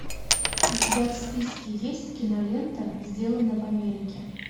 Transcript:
у тебя в списке есть кинолента сделано в америке